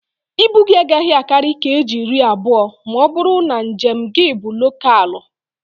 Ibu gị agaghị akarị keeji iri abụọ ma ọ bụrụ na njem gị bụ lokaalụ